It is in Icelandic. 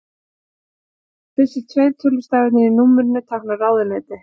Fyrstu tveir tölustafirnir í númerinu tákna ráðuneyti.